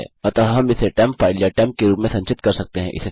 अतः हम इसे टेम्प फाइल या टेम्प के रूप में संचित कर सकते हैं